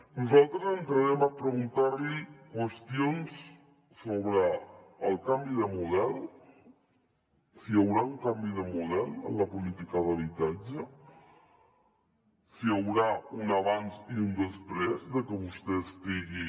nosaltres entrarem a preguntar li qüestions sobre el canvi de model si hi haurà un canvi de model en la política d’habitatge si hi haurà un abans i un després de que vostè estigui